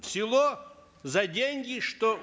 село за деньги что